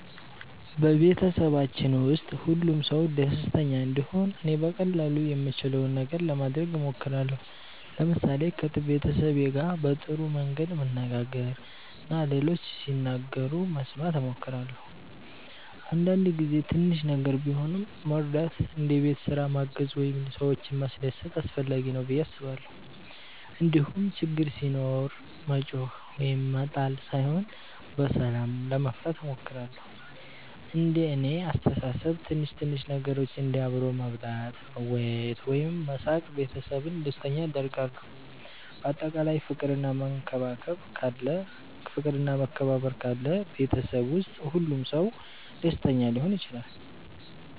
በቤተሰባችን ውስጥ ሁሉም ሰው ደስተኛ እንዲሆን እኔ በቀላሉ የምችለውን ነገር ለማድረግ እሞክራለሁ። ለምሳሌ ከቤተሰቤ ጋር በጥሩ መንገድ መነጋገር እና ሌሎች ሲናገሩ መስማት እሞክራለሁ። አንዳንድ ጊዜ ትንሽ ነገር ቢሆንም መርዳት እንደ ቤት ስራ ማገዝ ወይም ሰዎችን ማስደሰት አስፈላጊ ነው ብዬ አስባለሁ። እንዲሁም ችግር ሲኖር መጮኽ ወይም መጣል ሳይሆን በሰላም ለመፍታት እሞክራለሁ። እንደ እኔ አስተሳሰብ ትንሽ ትንሽ ነገሮች እንደ አብሮ መብላት፣ መወያየት ወይም መሳቅ ቤተሰብን ደስተኛ ያደርጋሉ። በአጠቃላይ ፍቅር እና መከባበር ካለ ቤተሰብ ውስጥ ሁሉም ሰው ደስተኛ ሊሆን ይችላል።